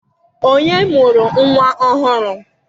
Ònye mụrụ nnwa ọhụrụ?